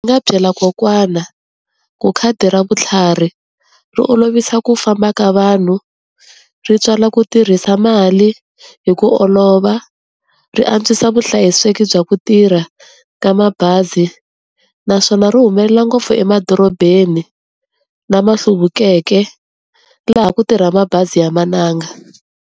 Nga byela kokwana ku khadi ra vutlhari ri olovisa ku famba ka vanhu, ri tswala ku tirhisa mali hi ku olova, ri antswisa vuhlayiseki bya ku tirha ka mabazi, naswona ri humelela ngopfu emadorobeni lama hluvukeke, laha ku tirha mabazi ya mananga.